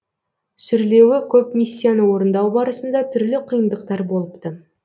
сүрлеуі көп миссияны орындау барысында түрлі қиындықтар болыпты